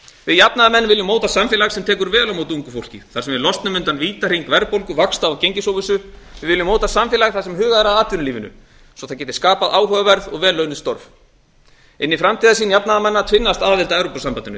við jafnaðarmenn viljum móta samfélag sem tekur vel á móti ungu fólki á sem við losnum undan vítahring verðbólgu vaxta og gengisóvissu við viljum móta samfélag þar sem hugað er að atvinnulífinu svo það geti skapað áhugaverð og vel launuð störf inn í framtíðarsýn jafnaðarmanna tvinnast aðild að evrópusambandinu